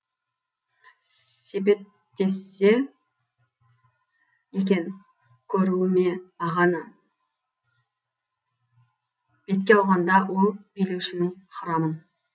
сепеттессе екен көруіме ағаны бетке алғанда ол билеушінің храмын